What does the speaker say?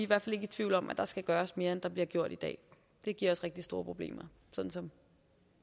hvert fald ikke i tvivl om at der skal gøres mere end der bliver gjort i dag det giver os rigtig store problemer sådan som